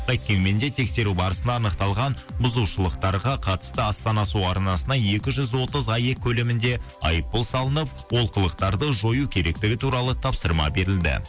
қайткенмен де тексеру барысында анықталған бұзушылықтарға қатысты астана су арнасына екі жүз отыз аек көлемінде айыппұл салынып олқылықтарды жою керектігі туралы тапсырма берілді